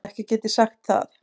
Ekki get ég sagt það.